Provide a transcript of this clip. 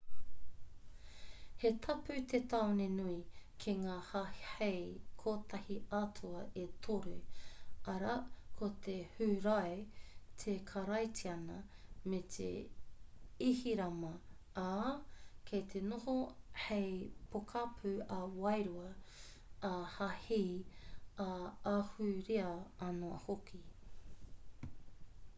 he tapu te tāone nui ki ngā hāhei kotahi-atua e toru arā ko te hūrae te karaitiana me te ihirama ā kei te noho hei pokapū ā-wairua ā-hāhi ā-ahurea anō hoki